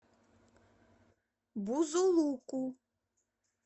бузулуку